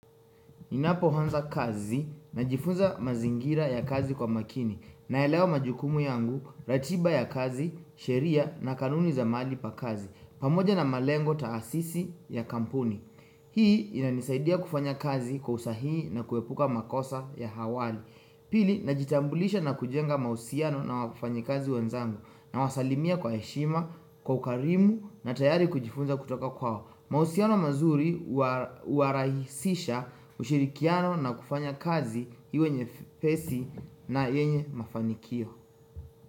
Ninapohonza kazi najifunza mazingira ya kazi kwa makini naelewa majukumu yangu, ratiba ya kazi, sheria na kanuni za maali pa kazi pamoja na malengo taasisi ya kampuni Hii inanisaidia kufanya kazi kwa usahihi na kuepuka makosa ya hawali Pili, najitambulisha na kujenga mausiano na wafanyikazi wanzangu nawasalimia kwa heshima, kwa ukarimu na tayari kujifunza kutoka kwao mausiano mazuri huwarahisisha ushirikiano na kufanya kazi iwe nyepesi na yenye mafanikio.